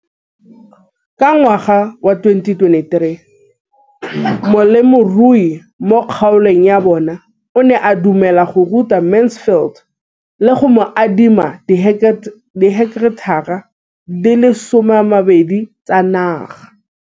Ka ngwaga wa 2013, molemirui mo kgaolong ya bona o ne a dumela go ruta Mansfield le go mo adima di heketara di le 12 tsa naga.